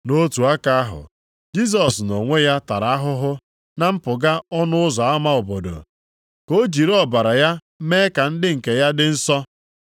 Nʼotu aka ahụ, Jisọs nʼonwe ya tara ahụhụ na mpụga ọnụ ụzọ ama obodo ka o jiri ọbara ya mee ka ndị nke ya dị nsọ.